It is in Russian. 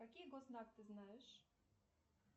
какие гос знак ты знаешь